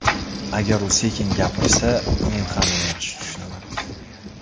Agar u sekin gapirsa, men ham uni yaxshi tushunaman.